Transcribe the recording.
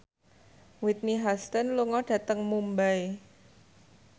Whitney Houston lunga dhateng Mumbai